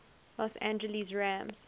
los angeles rams